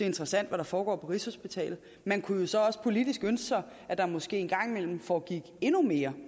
interessant hvad der foregår på rigshospitalet man kunne jo så også politisk ønske sig at der måske en gang imellem foregik endnu mere